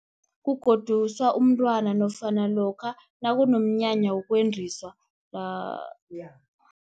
Kugoduswa umntwana, nofana lokha nakunomnyanya wokwendiswa